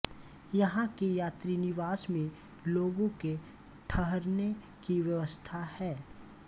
यहां के यात्री निवास में लोगों के ठहरने की व्यवस्था है